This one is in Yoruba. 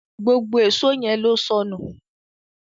gbógbó Èṣó yén ló sọnù